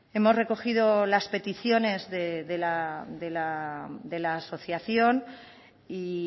hemos recogido las peticiones de la asociación y